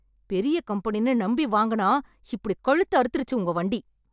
பெரிய கம்பெனின்னு நம்பி வாங்குனா இப்படிக் கழுத்த அறுத்துருச்சு உங்க வண்டி.